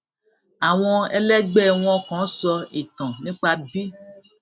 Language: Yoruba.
àwọn ẹlẹgbẹ wọn kan sọ ìtàn nípa bí